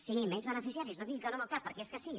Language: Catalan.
sí menys beneficiaris no digui que no amb el cap perquè és que sí